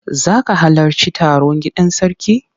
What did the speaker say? Za ka halarci taro gidan sarki?